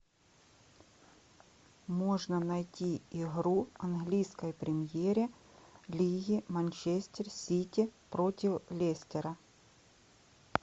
можно найти игру английской премьере лиги манчестер сити против лестера